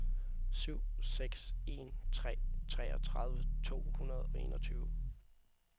syv seks en tre treogtredive to hundrede og enogtyve